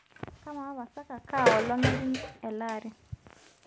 kamaa pasaka kaa olong ejing elaari